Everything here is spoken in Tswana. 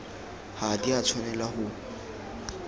ga di a tshwanela go